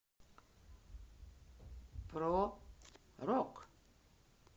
про рок